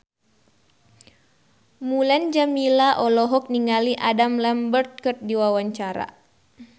Mulan Jameela olohok ningali Adam Lambert keur diwawancara